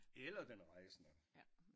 Eller den rejsende